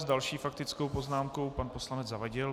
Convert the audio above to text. S další faktickou poznámkou pan poslanec Zavadil.